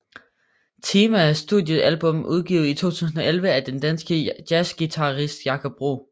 Time er et studiealbum udgivet i 2011 af den danske jazzguitarist Jakob Bro